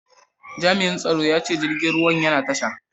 Jami'in tsaron ya ce jirgin ruwan yana tasha.